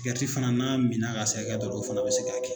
fana n'a minna ka se hakɛ dɔ o fana bɛ se ka kɛ.